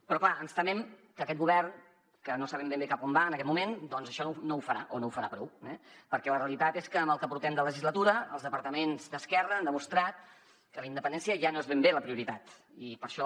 però clar ens temem que aquest govern que no sabem ben bé cap a on va en aquest moment doncs això no ho farà o no ho farà prou eh perquè la realitat és que en el que portem de legislatura els departaments d’esquerra han demostrat que la independència ja no és ben bé la prioritat i per això